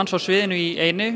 á sviðinu í einu